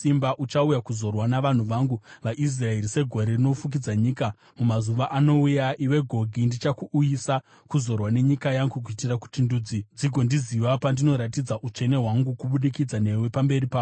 Uchauya kuzorwa navanhu vangu vaIsraeri segore rinofukidza nyika. Mumazuva anouya, iwe Gogi, ndichakuuyisa kuzorwa nenyika yangu, kuitira kuti ndudzi dzigondiziva pandinoratidza utsvene hwangu kubudikidza newe pamberi pavo.